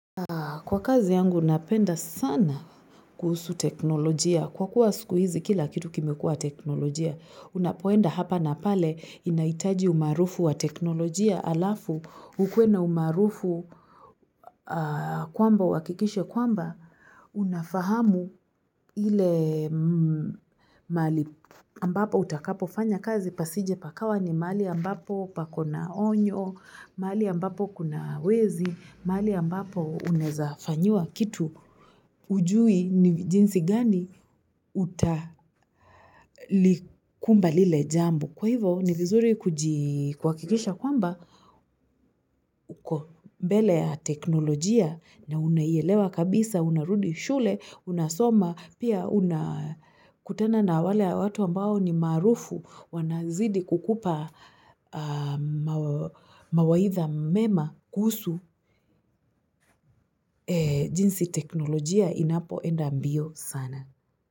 Kwa kazi yangu napenda sana kuhusu teknolojia. Kwa kuwa siku hizi kila kitu kimekua teknolojia. Unapoenda hapa na pale inahitaji umaarufu wa teknolojia alafu ukuwe na umaarufu kwamba uhakikishe kwamba unafahamu ile mahali ambapo utakapo fanya kazi pasije pakawa ni mahali ambapo pakona onyo, mahali ambapo kuna wezi, mali ambapo unaweza fanyiwa. Kitu hujui ni jinsi gani utalikumba lile jambo. Kwa hivyo ni vizuri kuhakikisha kwamba uko mbele ya teknolojia na unaielewa kabisa, unarudi shule, unasoma, pia unakutena na wale ya watu ambao ni marufu wanazidi kukupa mawaidha mema kuhusu jinsi teknolojia inapoenda mbio sana.